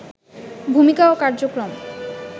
ভূমিকা ও কার্যক্রম